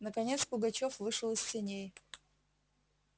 наконец пугачёв вышел из сеней